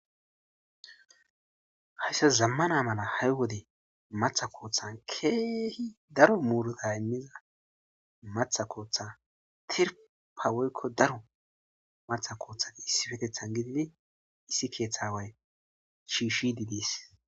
Hayissan zamana mala ha'i wode maththa koththanni kehi daro murutayi maththa koththanni tiriffa woyikko daro maththa koththanni issippeteththanni gididi issi keththa awayi shishshide des.